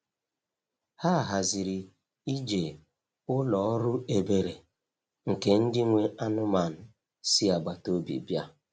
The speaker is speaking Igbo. Ha haziri ije ụlọ ọrụ ebere nke ndị nwe anụmanụ si agbata obi bịa.